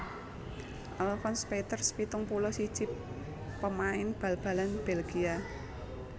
Alfons Peeters pitung puluh siji pamain bal balan Bèlgia